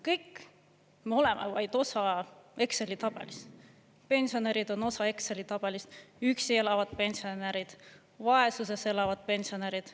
Kõik me oleme vaid osa Exceli tabelist: pensionärid on osa Exceli tabelist, üksi elavad pensionärid, vaesuses elavad pensionärid.